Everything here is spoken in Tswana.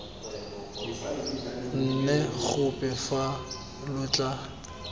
nne gope fa lo tla